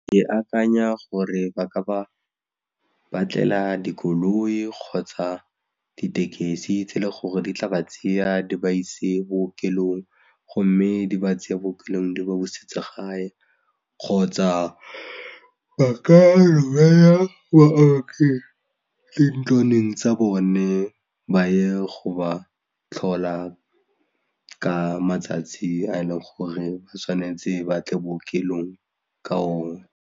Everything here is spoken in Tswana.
Ke akanya gore ba ka ba batlela dikoloi kgotsa ditekesi tse le gore di tla ba tseya di ba ise bookelong go mme di ba tseye ko bookelong di ba busetse gae kgotsa ba ka duela baoki dintlwaneng tsa bone ba ye go ba tlhola ka matsatsi a e leng gore ba tshwanetse ba tle bookelong ka ona.